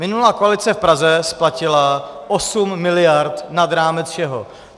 Minulá koalice v Praze splatila 8 miliard nad rámec všeho.